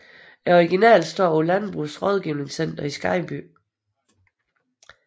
Originalen står på Landbrugets Rådgivningscenter i Skejby